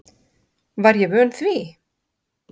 Var ég vön því?